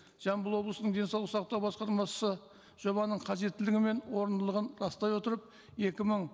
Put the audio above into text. жамбыл облысының денсаулық сақтау басқармасы жобаның қажеттілігі мен орындылығын растай отырып екі мың